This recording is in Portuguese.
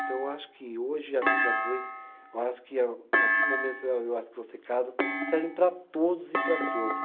Então eu acho que hoje a vida a dois, eu acho que a partir do momento, eu acho que vocês casam, servem para todos e para todas.